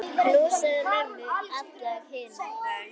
Knúsaðu mömmu og alla hina.